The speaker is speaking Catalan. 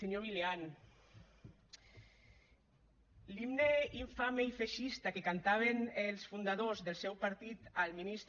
senyor milián l’himne infame i feixista que cantaven els fundadors del seu partit al ministre